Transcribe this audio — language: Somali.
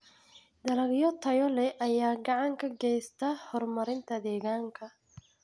Dalagyo tayo leh ayaa gacan ka geysta horumarinta deegaanka.